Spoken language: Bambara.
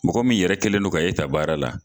Mɔgɔ min yɛrɛ kɛlen don ka e ta baara la